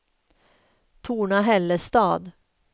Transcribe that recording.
Torna-Hällestad